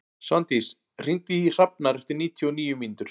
Svandís, hringdu í Hrafnar eftir níutíu og níu mínútur.